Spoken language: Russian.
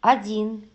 один